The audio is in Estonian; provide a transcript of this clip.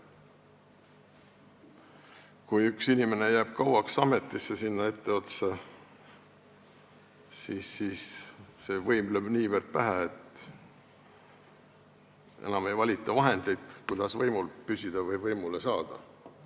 Kui üks inimene jääb kauaks ameti etteotsa, siis lööb võim niivõrd pähe, et enam ei valita vahendeid, kuidas võimule saada või võimul püsida.